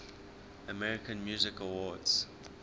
american music awards